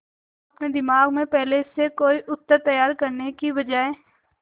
अपने दिमाग में पहले से कोई उत्तर तैयार करने की बजाय